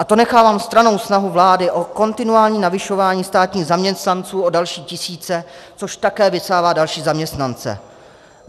A to nechávám stranou snahu vlády o kontinuální navyšování státních zaměstnanců o další tisíce, což také vysává další zaměstnance.